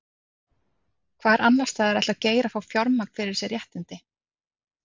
Hvar annarsstaðar ætlar Geir að fá fjármagn fyrir þessi réttindi?